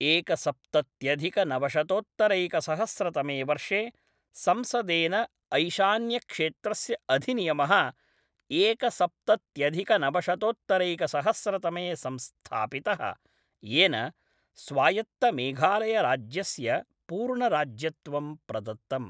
एकसप्तत्यधिकनवशतोत्तरैकसहस्रतमे वर्षे संसदेन ऐशान्यक्षेत्रस्य अधिनियमः एकसप्तत्यधिकनवशतोत्तरैकसहस्रतमे संस्थापितः, येन स्वायत्तमेघालयराज्यस्य पूर्णराज्यत्वं प्रदत्तम्।